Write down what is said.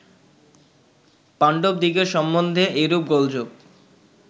পাণ্ডবদিগের সম্বন্ধে এইরূপ গোলযোগ